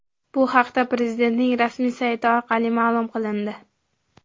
Bu haqda Prezidentning rasmiy sayti orqali ma’lum qilindi.